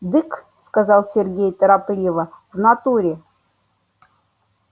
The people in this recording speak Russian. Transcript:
дык сказал сергей торопливо в натуре